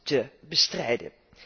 te bestrijden.